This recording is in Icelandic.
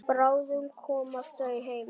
Bráðum koma þau heim.